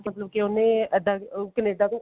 ਮਤਲਬ ਕਿ ਉਹਨੇ ਇੱਧਰ ਕਨੇਡਾ ਤੋਂ